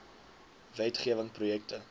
wet gewing projekte